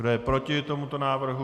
Kdo je proti tomuto návrhu?